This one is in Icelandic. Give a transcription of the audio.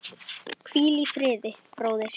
Hvíl í friði, bróðir.